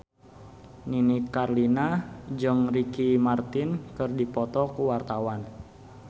Nini Carlina jeung Ricky Martin keur dipoto ku wartawan